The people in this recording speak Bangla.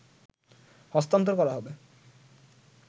হস্তান্তর করা হবে